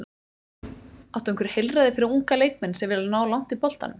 Áttu einhver heilræði fyrir unga leikmenn sem vilja ná langt í boltanum?